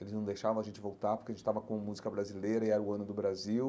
Eles não deixavam a gente voltar porque a gente estava com música brasileira e era o Ano do Brasil.